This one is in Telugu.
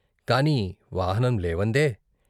కాని వాహనం లేవందే?